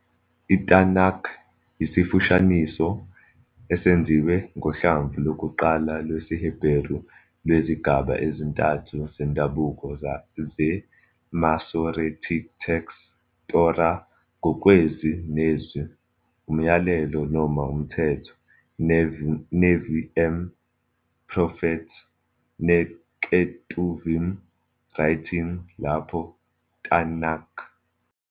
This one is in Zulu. "ITanakh" yisifushaniso, esenziwe ngohlamvu lokuqala lwesiHeberu lwezigaba ezintathu zendabuko zeMasoretic Text - Torah, ngokwezwi nezwi 'Umyalelo' noma 'Umthetho', Nevi'im, Prophets, neKetuvim, Writings, - lapho TaNaKh.